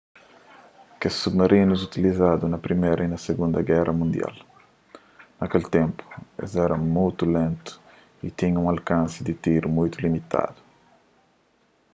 kes submarinus utilizadu na priméra y na sigunda géra mundial na kel ténpu es éra mutu lentu y tinha un alkansi di tiru mutu limitadu